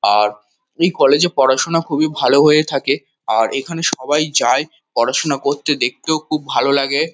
আর এই কলেজ -এ পড়াশোনা খুবই ভালো হয়ে থাকে আর এখানে সবাই যায় পড়াশোনা করতে দেখতেও খুব ভালো লাগে-এ।